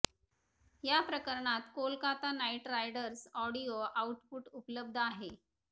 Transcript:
या प्रकरणात Kolkata Knight Riders audio output उपलब्ध आहे